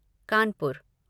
Kanpur